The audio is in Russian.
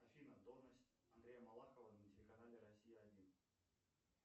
афина должность андрея малахова на телеканале россия один